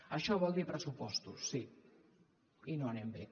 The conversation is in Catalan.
això vol dir pressupostos sí i no anem bé